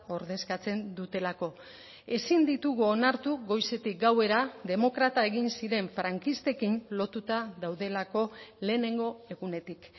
ordezkatzen dutelako ezin ditugu onartu goizetik gauera demokrata egin ziren frankistekin lotuta daudelako lehenengo egunetik